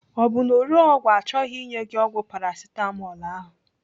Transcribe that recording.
Ọ bụ na ore ọgwụ achọghị inye gị ọgwụ Paracetamol ahụ?